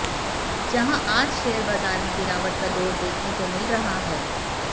जहां आज शेयर बाजार में गिरावट का दौर देखने को मिल रहा है